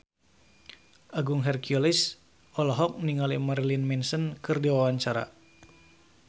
Agung Hercules olohok ningali Marilyn Manson keur diwawancara